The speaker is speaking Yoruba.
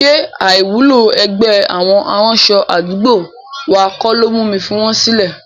Ṣé àìwúlò ẹgbẹ́ àwọn aránṣọ àdúgbò wa kọ́ ló mú mi fi wọn sílẹ̀?